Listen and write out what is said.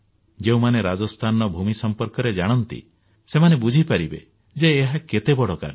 ଯେଉଁମାନେ ରାଜସ୍ଥାନର ଭୂମି ସମ୍ପର୍କରେ ଜାଣନ୍ତି ସେମାନେ ବୁଝିପାରିବେ ଯେ ଏହା କେତେ ବଡ କାର୍ଯ୍ୟ